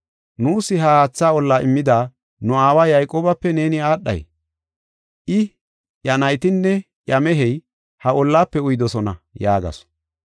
Nuus ha haatha olla immida nu aawa Yayqoobape neeni aadhay? I, iya naytinne iya mehey ha ollaafe uyidosona” yaagasu.